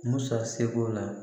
Musa seko la